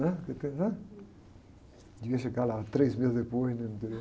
né? né? Devia chegar lá três meses depois, né? No interior.